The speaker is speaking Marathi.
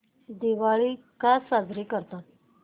दिवाळी का साजरी करतात